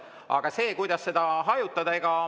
Aga kuidas seda hajutada?